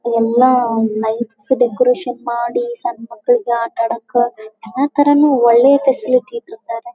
ಎಲ್ಲ lights decoration ಮಾಡಿ ಸಣ್ಣ ಮಕ್ಕಳಿಗೆ ಆತ ಅಡಕ್ಕ ಎಲ್ಲ ತರನು ಒಳ್ಳೆ ಫೆಸಿಲಿಟಿ ಇಟ್ಟಿದ್ದಾರೆ .